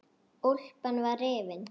Úlpan var rifin.